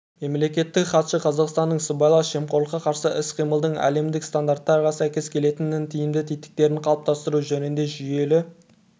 мемлекеттік хатшы қазақстанның сыбайлас жемқорлыққа қарсы іс-қимылдың әлемдік стандарттарға сәйкес келетін тиімді тетіктерін қалыптастыру жөнінде жүйелі